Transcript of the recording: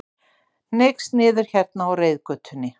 Hneigst niður hérna á reiðgötunni.